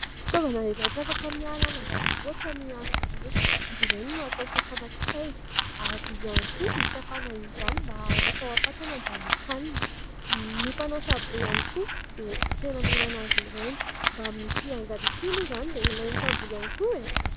Fitaovana iray tsy afaka miala ny ambanivoatra ny antsy be. Izy ireny no atao fakana kitay ary ihany koa hikapana izany mba haroso ao am-patana handrahoin-kanina. Ny mpanao saribô ihany koa dia tena mila azy ireny mbamin'ity angady ity moa izany dia ilain'ny mpamboly iany koa e !